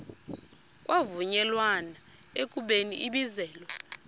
kwavunyelwana ekubeni ibizelwe